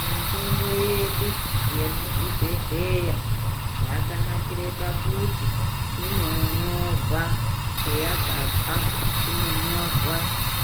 Mitombo yedu yemuzvibhedhlera yakanakira pakuti inonyorwa kweyakabva inonyorwa